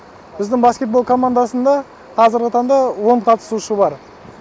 біздің баскетбол командасында қазіргі таңда он қатысушы бар